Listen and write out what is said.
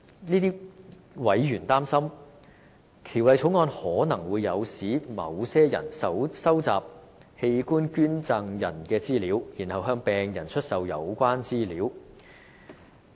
這些委員擔心，《條例草案》可能會誘使某些人收集器官捐贈人的資料，然後向病人出售有關資料。